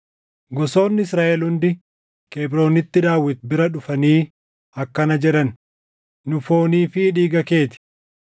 Gosoonni Israaʼel hundi Kebroonitti Daawit bira dhufanii akkana jedhan; “Nu foonii fi dhiiga kee ti.